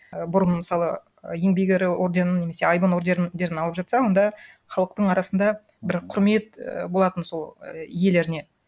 і бұрын мысалы еңбек ері орденін немесе айбын ордерін алып жатса онда халықтың арасында бір құрмет і болатын і сол иелеріне